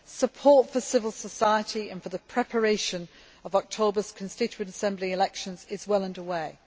Support for civil society and for the preparation of October's Constituent Assembly elections is well under way.